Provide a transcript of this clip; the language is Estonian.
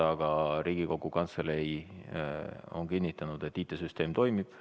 Aga Riigikogu Kantselei on kinnitanud, et IT-süsteem toimib.